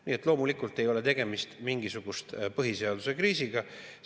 Nii et loomulikult ei ole tegemist mingisuguse põhiseaduse kriisiga.